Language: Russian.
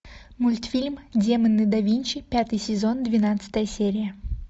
мультфильм демоны да винчи пятый сезон двенадцатая серия